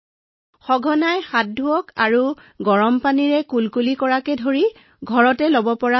অনুগ্ৰহ কৰি আয়ুৰ্বেদিক কাঢ়া খাওক বাষ্প উশাহত লওক আৰু প্ৰতিদিনে মুখ কুলিকুলি কৰক আৰু উশাহনিশাহৰ ব্যায়ামো কৰিব পাৰে